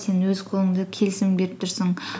сен өз қолыңды келісім беріп тұрсың